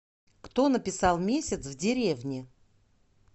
кто написал месяц в деревне